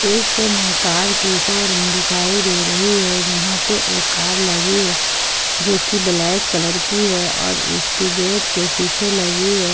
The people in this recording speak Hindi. दृश्य में कार के शोरूम दिखाई दे रही है जहां पे एक कार लगी है जो की ब्लैक कलर की है और इसके गेट पे शीशे लगी है।